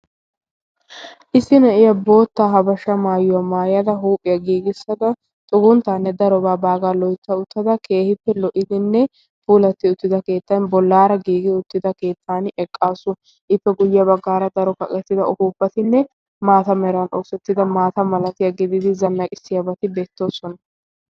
issi na7iya bootta habashaa maayuwaa maayada huuphiyaa giigissada xugunttaanne darobaa baagaa loitta uttada keehippe lo77idinne puulatti uttida keettan bollaara giigi uttida keettan eqqaasu. ippe guyye baggaara daro kaqettida upuuppatinne maata meran oosettida maata malatiyaa gididi zannaqissiyaabati beettoosona.